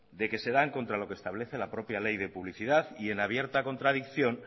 que se dan contra lo que establece la propia ley de publicidad y en abierta contradicción